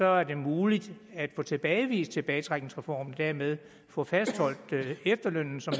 er det muligt at få tilbagevist tilbagetrækningsreformen og dermed få fastholdt efterlønnen som